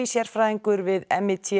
sérfræðingur við